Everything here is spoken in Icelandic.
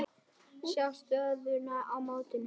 Sjá stöðuna í mótinu.